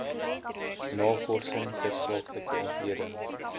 navorsing tersaaklike ontleding